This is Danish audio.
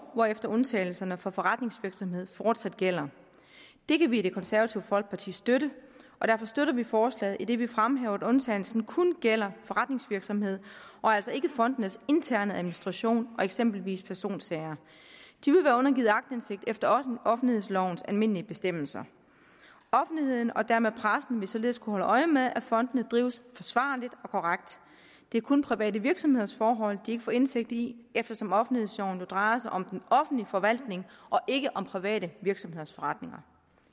hvorefter undtagelserne for forretningsvirksomhed fortsat gælder det kan vi i det konservative folkeparti støtte og derfor støtter vi forslaget idet vi fremhæver at undtagelsen kun gælder forretningsvirksomhed og altså ikke fondenes interne administration og eksempelvis personsager de vil være undergivet aktindsigt efter offentlighedslovens almindelige bestemmelser offentligheden og dermed pressen vil således kunne holde øje med at fondene drives forsvarligt og korrekt det er kun private virksomheders forhold de ikke får indsigt i eftersom offentlighedsloven jo drejer sig om den offentlige forvaltning og ikke om private virksomheders forretninger